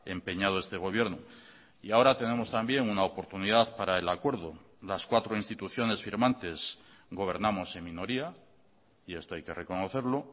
empeñado este gobierno y ahora tenemos también una oportunidad para el acuerdo las cuatro instituciones firmantes gobernamos en minoría y esto hay que reconocerlo